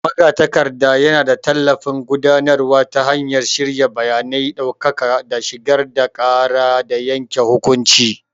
Magatakarda yana ba da tallafin gudanarwa ta hanyar shirya bayanan ɗaukaka da shigar da ƙara da yanke hukunci.